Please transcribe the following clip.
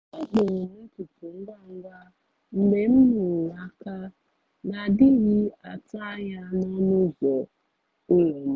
a kpụrụ m ntutu ngwa ngwa mgbe m nụrụ aka na-adịghị atụ anya n’ọnụ ụzọ ụlọ m